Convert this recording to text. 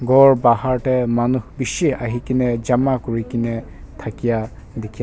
ghor Bahar teh manu bishi ahi kene jamaa kuri ke ne thakia dikhia a.